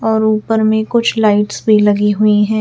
और ऊपर में कुछ लाइट्स भी लगी हुई है।